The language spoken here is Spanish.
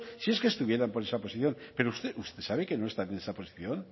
si es que estuvieran por esa posición pero usted sabe que no están en esa posición